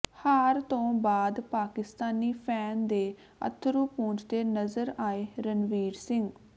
ਹਾਰ ਤੋਂ ਬਾਅਦ ਪਾਕਿਸਤਾਨੀ ਫੈਨ ਦੇ ਅੱਥਰੂ ਪੂੰਝਦੇ ਨਜ਼ਰ ਆਏ ਰਣਵੀਰ ਸਿੰਘ